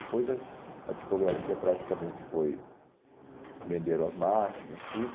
Depois eh a tipografia praticamente foi... Venderam as máquinas, tudo.